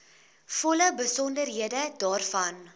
volle besonderhede daarvan